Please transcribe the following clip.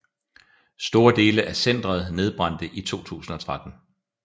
Store dele af centeret nedbrændte i 2013